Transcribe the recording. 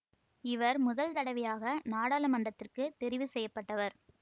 இவர் முதல் தடவையாக நாடாளுமன்றத்திற்குத் தெரிவு செய்ய பட்டவர்